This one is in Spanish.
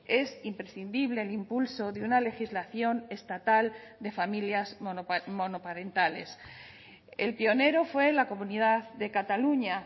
es imprescindible el impulso de una legislación estatal de familias monoparentales el pionero fue la comunidad de cataluña